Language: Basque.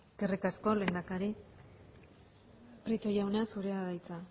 eskerrik asko lehendakari prieto jauna zurea da hitza